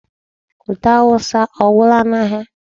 Ute awụsa ọ gwụla n'ahịa?